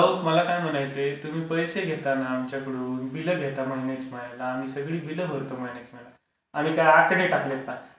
अहो, मला काय म्हणायचं आहे, तुम्ही पैसे घेताना आमच्याकडून? बिलं घेता महिन्याच्या महिन्या. बिलं भरतो आम्ही सगळे महिन्याच्या महिन्या. आम्ही काय आकडे टाकलेत का?